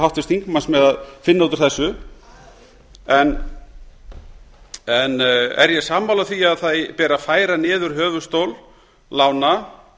háttvirts þingmanns með að finna út úr þessu er ég sammála því að það beri að færa niður höfuðstól lána